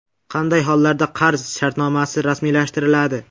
Qanday hollarda qarz shartnomasi rasmiylashtiriladi?.